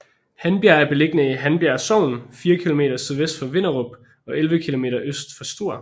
Handbjerg er beliggende i Handbjerg Sogn fire kilometer sydvest for Vinderup og 11 kilometer øst for Struer